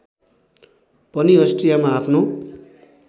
पनि अष्ट्रियामा आफ्नो